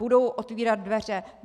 Budou otvírat dveře.